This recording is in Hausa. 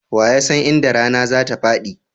Wa ya san inda rana zatafaɗi?